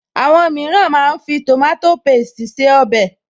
Àwọn mìíràn máa ń fi tòmátò pésti se ọbẹ̀